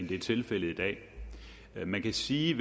det er tilfældet i dag man kan sige